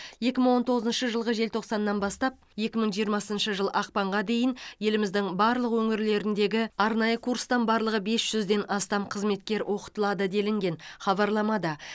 екі мың он тоғызыншы жылғы желтоқсаннан бастап екі мың жиырмасыншы жыл ақпанға дейін еліміздің барлық өңірлеріндегі арнайы курстан барлығы бес жүзден астам қызметкер оқытылады делінген хабарламада